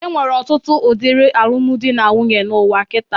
Enwere ọtụtụ udiri alụmdi na nwunye n'ụwa kitaa.